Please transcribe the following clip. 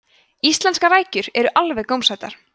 íslenskar rækjur eru alveg gómsætar